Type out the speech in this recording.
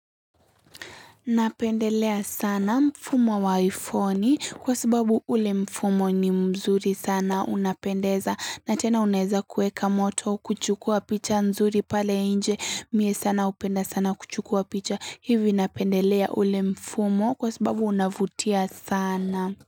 Napendelea sana mfumo wa iphone kwa sababu ule mfumo ni mzuri sana unapendeza na tena unaeza kueka moto kuchukua picha nzuri pale nje mie sana hupenda sana kuchukua picha hivi napendelea ule mfumo kwa sababu unavutia sana.